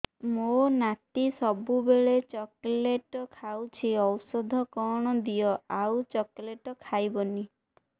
ମୋ ନାତି ସବୁବେଳେ ଚକଲେଟ ଖାଉଛି ଔଷଧ କଣ ଦିଅ ଆଉ ଚକଲେଟ ଖାଇବନି